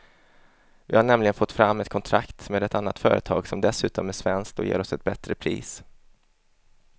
Vi har nämligen fått fram ett kontrakt med ett annat företag som dessutom är svenskt och ger oss ett bättre pris.